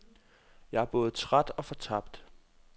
Jeg er både træt og fortabt.